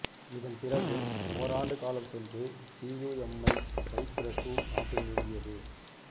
இதன் பிறகு ஓராண்டு காலம் சென்று சியுஎம்ஐ சைப்பிரசு நாட்டில் நிறுவியது